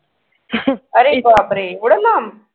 अरे बाप रे एवढ्या लांब